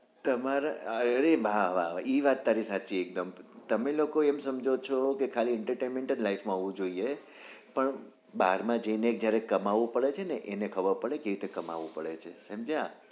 તમારે ઈ વાત તારી સાચી એકદમ તમે લોકો એમ સમજો છો કે ખાલી entertainment જ life માં હોવું જોઈએ પણ બારમાં જઈને જયારે કમાવું પડે છે એને ખબર પડે છે કેવી રીતે કમાવું પડે છે સમજ્યા?